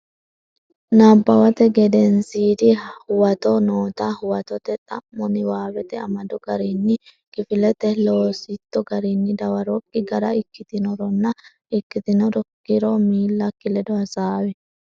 Nabbawate Gedensiidi Huwato noota huwatote xa mo niwaawete amado garinni kifilete loositto garinni dawarokki gara ikkitinoronna ikkitinokkiro miillakki ledo hasaawi.